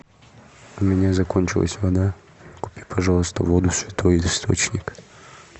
у меня закончилась вода купи пожалуйста воду святой источник